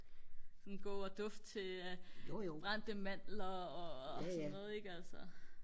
sådan gå og dufte til brændte mandler og sådan noget ikke altså